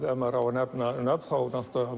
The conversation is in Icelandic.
ef maður á að nefna nöfn þá